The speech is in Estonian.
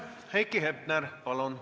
Heiki Hepner, palun!